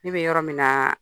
Ne bɛ yɔrɔ min naa